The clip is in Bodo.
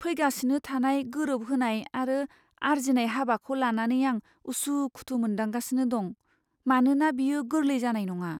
फैगासिनो थानाय गोरोबहोनाय आरो आर्जिनाय हाबाखौ लानानै आं उसु खुथु मोनदांगासिनो दं, मानोना बेयो गोरलै जानाय नङा।